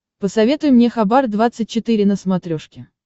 посоветуй мне хабар двадцать четыре на смотрешке